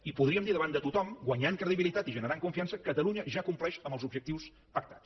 i podríem dir davant de tothom guanyant credibilitat i generant confiança catalunya ja compleix amb els objectius pactats